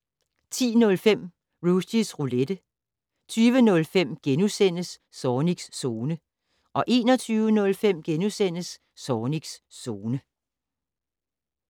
10:05: Rushys Roulette 20:05: Zornigs Zone * 21:05: Zornigs Zone *